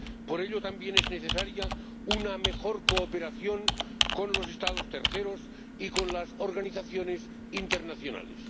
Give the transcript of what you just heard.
Por ello, también es necesaria una mejor cooperación con los Estados terceros y con las organizaciones internacionales.